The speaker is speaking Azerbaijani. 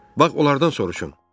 Bax, onlardan soruşun.